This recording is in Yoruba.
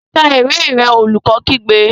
Ka ìwé rẹ! Olùkọ́ kígbe.